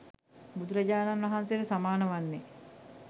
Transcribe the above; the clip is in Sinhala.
බුදුරජාණන් වහන්සේට සමාන වන්නේ